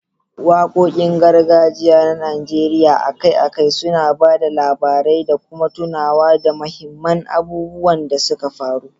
Wakokin gargajiya na Najeriya akai-akai suna ba da labarai da kuma tunawa da muhimman abubuwan da suka faru.